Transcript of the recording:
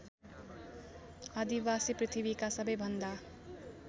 आदिवासी पृथ्वीका सबैभन्दा